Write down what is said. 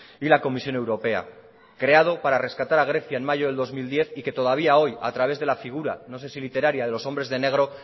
y la comisión europea creado para rescatar a grecia en mayo del dos mil diez y que todavía hoy a través de la figura no sé si literaria de los hombres de negro